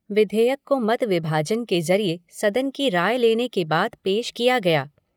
विधेयक को मत विभाजन के ज़रिये सदन की राय लेने के बाद पेश किया गया।